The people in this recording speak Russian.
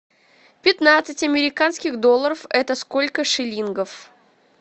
пятнадцать американских долларов это сколько шиллингов